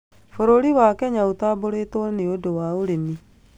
Bũrũri wa Kenya ũtambũrĩtwo nĩũndũ wa ũrĩmi